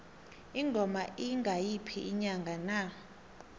ingoma iya ngayiphi inyanga na